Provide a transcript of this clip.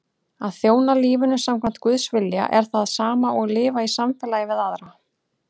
Að þjóna lífinu samkvæmt Guðs vilja er það sama og lifa í samfélagi við aðra.